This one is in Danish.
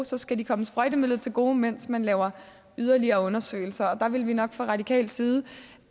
så skal de komme sprøjtemidlerne til gode mens man laver yderligere undersøgelser der vil vi nok fra radikal side